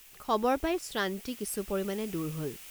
খবৰ পাই শ্ৰান্তি কিছু পৰিমাণে দূৰ হল।